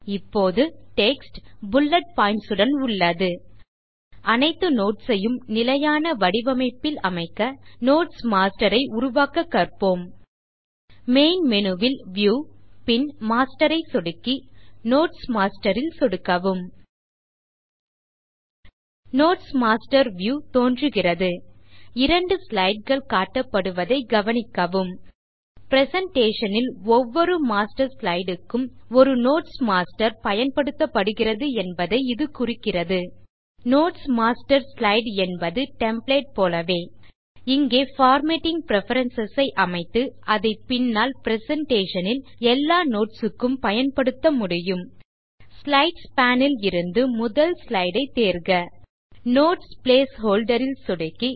இப்போது text bullet points உடன் உள்ளது அனைத்து நோட்ஸ் ஐயும் நிலையான வடிவமைப்பில் அமைக்க நோட்ஸ் மாஸ்டர் ஐ உருவாக்க கற்போம் மெயின் மேனு ல் வியூ பின் மாஸ்டர் ஐ சொடுக்கி நோட்ஸ் மாஸ்டர் ல் சொடுக்கவும் நோட்ஸ் மாஸ்டர் வியூ தோன்றுகிறது இரண்டு slideகள் காட்டப்படுவதை கவனிக்கவும் பிரசன்டேஷன் ல் ஒவ்வொரு மாஸ்டர் ஸ்லைடு க்கும் ஒரு நோட்ஸ் மாஸ்டர் பயன்படுத்தப்படுகிறது என்பதை இது குறிக்கிறது நோட்ஸ் மாஸ்டர் ஸ்லைடு என்பது டெம்ப்ளேட் போலவே இங்கே பார்மேட்டிங் பிரெஃபரன்ஸ் ஐ அமைத்து அதை பின்னால் பிரசன்டேஷன் ல் எல்லா நோட்ஸ் க்கும் பயன்படுத்த முடியும் ஸ்லைட்ஸ் பேன் ல் இருந்து முதல் ஸ்லைடு ஐ தேர்க நோட்ஸ் பிளேஸ் ஹோல்டர் ல் சொடுக்கி